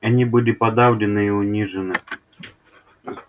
они были подавлены и унижены